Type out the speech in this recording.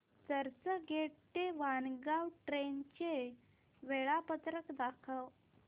चर्चगेट ते वाणगांव ट्रेन चे वेळापत्रक दाखव